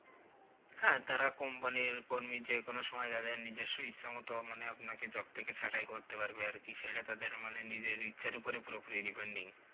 হ্যাঁ তারা Company র কর্মী যেকোনো সময় তাদের নিজস্ব ইচ্ছা মতো মানে আপনাকে Job থেকে ছাটাই করতে পারবে আরকি সেটা তাদের মানে নিজের ইচ্ছার ওপর পুরোপুরি Depending